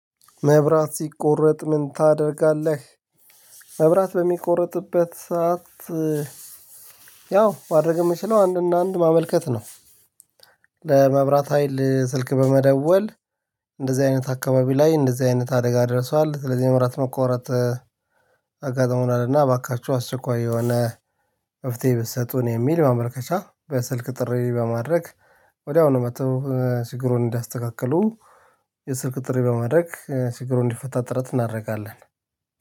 መብራት ሲቆረጥ ምን ታደርጋለህ? መብራት በሚቆርጥበት ሰዓት ያው ማድረግ የምችለው አንድ እና አንድ ማመልከት ነው። ለመብራት ሀይል ስልክ በመደወል እንደዚህ አይነት አካባቢ ላይ እንደዚህ አይነት አደጋ ደርሷል ስለዚህ የምብረት መቆረጥ። አጋጥሞናል እና እባካችሁ አስቸኳይ የሆነ መፍትሄ ብትሰጡን የሚል ማመልከቻ በስልክ ጥሪ በማድረግ ወዲያው ነው መጥተው ችግሩን እንዲያስተካክሉ። የስልክ ጥሪ በማድረግ ችግሩ እንዲፈታ ጥረት እናደርጋለን።